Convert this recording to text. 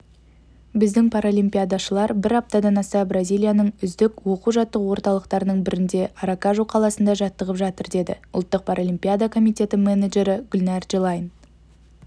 біздің паралимпиадашылар бір аптадан аса бразилияның үздік оқу-жаттығу орталықтарының бірінде аракажу қаласында жаттығып жатыр деді ұлттық паралимпиада комитеті менеджері гүлнәр джелайн